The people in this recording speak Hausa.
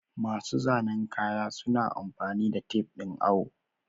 Masu zanen kaya suna amfani da tafe ɗin awo.